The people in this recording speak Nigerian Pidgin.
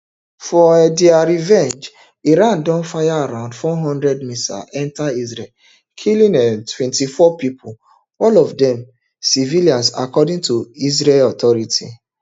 for um dia revenge iran don fire around four hundred missiles enta israel killing um twenty-four pipo all of dem civilians according to israeli authorities